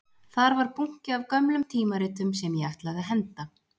Þar var bunki af gömlum tímaritum sem ég ætlaði að henda